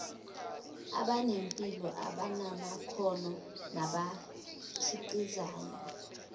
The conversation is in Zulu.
abanempilo abanamakhono nabakhiqizayo